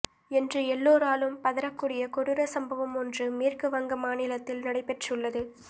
என்று எல்லோராலும் பதறக்கூடிய கொடூர சம்பவம் ஒன்று மேற்குவங்க மாநிலத்தில் நடைபெற்றுள்ளது